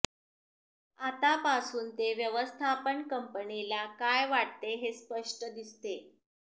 आतापासून ते व्यवस्थापन कंपनीला काय वाटते हे स्पष्ट दिसते